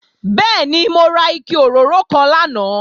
Bẹ́ẹ̀ni, mo ra ike òróró kan lánàá